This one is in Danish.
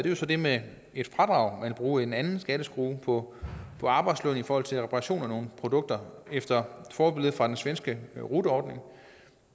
jo så det med et fradrag man vil bruge en anden skatteskrue på arbejdsløn i forhold til reparationer af nogle produkter efter forbillede fra den svenske rut ordning